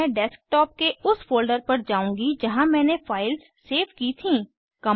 और मैं डेस्कटॉप के उस फोल्डर पर जाउंगी जहाँ मैंने फाइल्स सेव की थीं